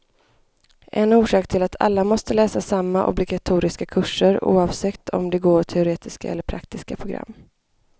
En orsak är att alla måste läsa samma obligatoriska kurser, oavsett om de går teoretiska eller praktiska program.